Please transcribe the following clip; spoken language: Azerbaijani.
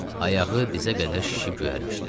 Ayağı dizə qədər şişib göyərmişdi.